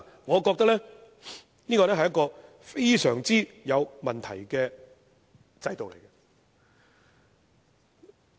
我覺得這是一個極有問題的制度。